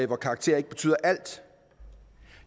hvor karakterer ikke betyder alt